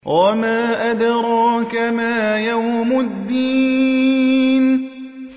وَمَا أَدْرَاكَ مَا يَوْمُ الدِّينِ